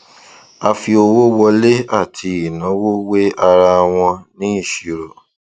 a fi owó wọlé àti ìnáwó wé ara wọn ní ìṣirò